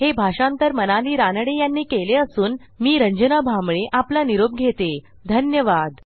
हे भाषांतर मनाली रानडे यांनी केले असून मी रंजना भांबळे आपला निरोप घेते धन्यवाद